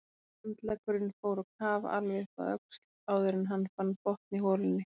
Handleggurinn fór á kaf alveg upp að öxl áður en hann fann botn í holunni.